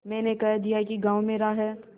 मैंने कह दिया कि गॉँव मेरा है